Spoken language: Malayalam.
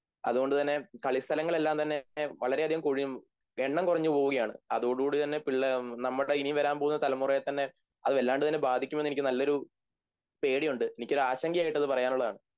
അതുകൊണ്ടുതന്നെ കളിസ്ഥലങ്ങളെല്ലാംതന്നെ വളരെയധികം എണ്ണം കുറഞ്ഞുപോവുകയാണ് അതോടുകൂടിത്തന്നെ നമ്മുടെ ഈ വരാൻ പോകുന്ന തലമുറയെ തന്നെ അത് വല്ലാണ്ടുതന്നെ ബാധിക്കുമെന്ന് എനിക്ക് നല്ലൊരു പേടിയുണ്ട് എനിക്കൊരാശങ്കയായിട്ടതു പറയാനുള്ളതാണ്